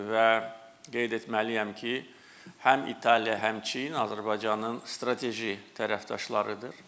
Və qeyd etməliyəm ki, həm İtaliya, həm Çin Azərbaycanın strateji tərəfdaşlarıdır.